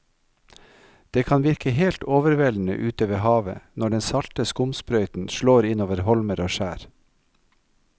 Det kan virke helt overveldende ute ved havet når den salte skumsprøyten slår innover holmer og skjær.